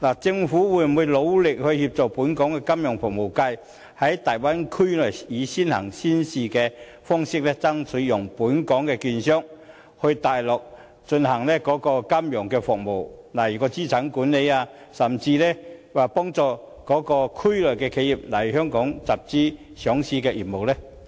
政府會否努力協助本港的金融服務界在大陸提供金融服務，例如爭取讓本港的券商在大灣區內以"先行先試"的方式提供金融服務，如資產管理，甚至幫助區內的企業來香港上市集資呢？